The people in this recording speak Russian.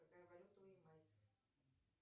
какая валюта у ямайцев